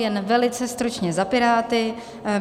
Jen velice stručně za Piráty.